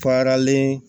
Paralen